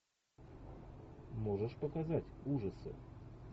можешь показать ужасы